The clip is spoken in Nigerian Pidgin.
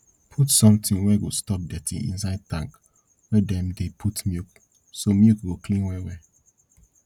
put sometin wey go stop dirty inside tank wey dem dey put milk so milk go clean well well